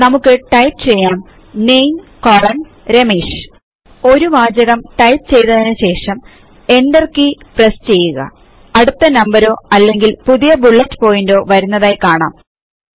നമുക്ക് ടൈപ്പ് ചെയ്യാം NAME രമേഷ് ഒരു വാചകം ടൈപ്പ് ചെയ്തതിനു ശേഷം Enter കീ പ്രസ് ചെയ്യുക അടുത്ത നമ്പരോ അല്ലെങ്കിൽ പുതിയ ബുല്ലെറ്റ് പോയിന്റോ വരുന്നത് കാണാം